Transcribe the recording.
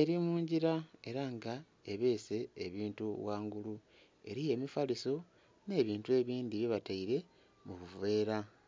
eri mungira era nga ebese ebintu ghangulu eriyo emipaliso nhe bintu ebindhi bye bataire mu buveera.